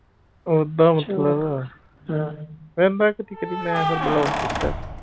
ਉੱਦਾਂ ਫਿਰ ਮੈਂ ਕਦੀ ਕਦੀ ਮੈਂ ਫਿਰ block ਕੀਤਾ।